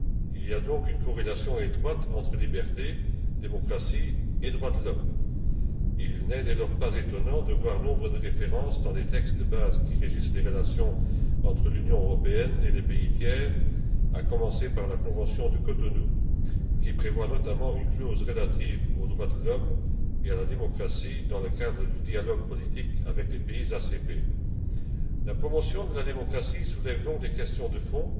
Il y a donc une corrélation étroite entre liberté, démocratie et droits de l'homme. Il n'est dès lors pas étonnant de voir nombre de références dans les textes de base qui régissent les relations entre l'Union européenne et les pays tiers, à commencer par la Convention de Cotonou, qui prévoit notamment une clause relative aux droits de l'homme et à la démocratie dans le cadre du dialogue politique avec les pays ACP. La promotion de la démocratie soulève donc des questions de